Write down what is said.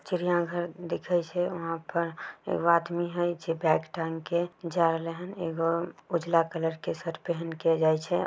चिरिया घर दिखई से वहाँ पर एगो आदमी है पिछे बैग टांग के जार लेहन एगो उजला कलर के शर्ट पेहेन के जायझे।